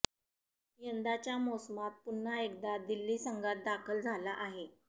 यंदाच्या मोसमात पुन्हा एकदा दिल्ली संघात दाखल झाला आहे